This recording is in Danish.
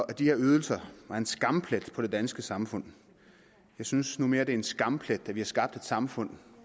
at de her ydelser er en skamplet på det danske samfund jeg synes nu mere det en skamplet at vi har skabt et samfund